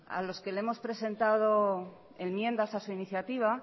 a los que le hemos presentado enmiendas a su iniciativa